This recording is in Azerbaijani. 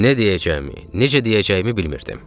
Nə deyəcəyimi, necə deyəcəyimi bilmirdim.